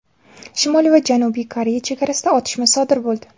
Shimoliy va Janubiy Koreya chegarasida otishma sodir bo‘ldi.